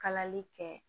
Kalali kɛ